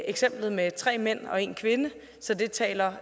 eksemplet med tre mænd og én kvinde så det taler